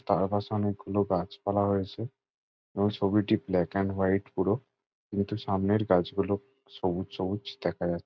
তার পাশে অনেকগুলো গাছপালা রয়েছে এবং ছবিটি ব্ল্যাক এন্ড হোয়াইট পুরো। কিন্তু সামনের গাছগুলো সবুজ সবুজ দেখা যা --